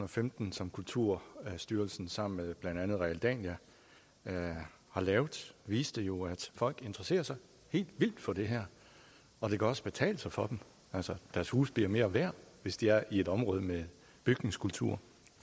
og femten som kulturstyrelsen sammen med blandt andet realdania har lavet viste jo at folk interesserer sig helt vildt for det her og det kan også betale sig for dem deres huse bliver mere værd hvis de er i et område med bygningskultur